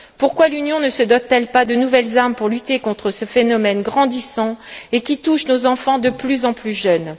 Pourquoi l'Union ne se dote t elle pas de nouvelles armes pour lutter contre ce phénomène grandissant et qui touche nos enfants de plus en plus jeunes?